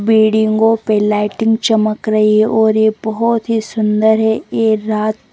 बिडिंगो पे लाइटिंग चमक रही है और ये बहोत ही सुंदर है ये रात--